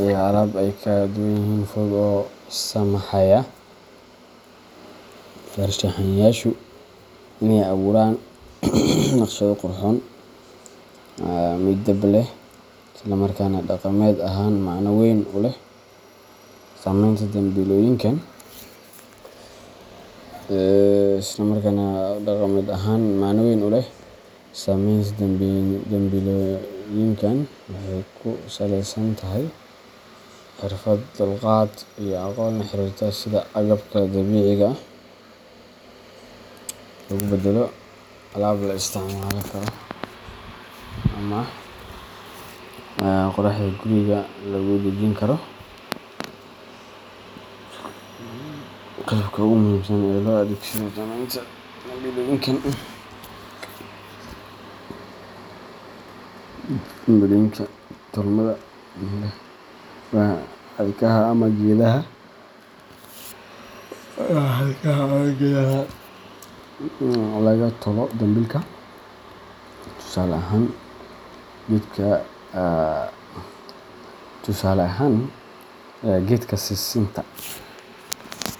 iyo alaab kala duwan oo fudud oo u saamaxaya farshaxanayaashu inay abuuraan naqshado qurxoon, midab leh, isla markaana dhaqameed ahaan macno weyn u leh. Samaynta dambilooyinkan waxay ku salaysan tahay xirfad, dulqaad, iyo aqoon la xiriirta sida agabka dabiiciga ah loogu beddelo alaab la isticmaali karo ama quruxda guriga lagu dhejin karo. Qalabka ugu muhiimsan ee loo adeegsado samaynta dambilooyinka tolmada leh waa xadhkaha ama geedaha laga tolo dambilka. Tusaale ahaan, geedka sisinta.